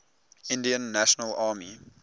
indian national army